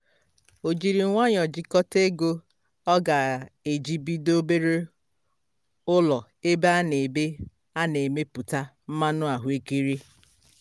o jiri nwayọ jikọta ego ọ ga-eji bido obere ụlọ ebe a na ebe a na emepụta mmanụ ahụekere